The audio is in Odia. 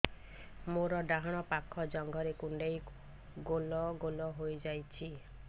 ମୋର ଡାହାଣ ପାଖ ଜଙ୍ଘରେ କୁଣ୍ଡେଇ ଗୋଲ ଗୋଲ ହେଇଯାଉଛି